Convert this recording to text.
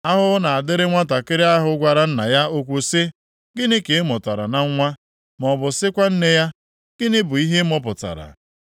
Ahụhụ na-adịrị nwantakịrị ahụ gwara nna ya okwu sị, ‘Gịnị ka ị mụtara na nwa?’ maọbụ sịkwa nne ya, ‘Gịnị bụ ihe ị mụpụtara?’ + 45:10 Ime gịnị na-eme gị